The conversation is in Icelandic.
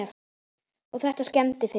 Og þetta skemmdi fyrir mér.